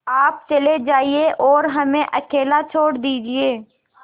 आप चले जाइए और हमें अकेला छोड़ दीजिए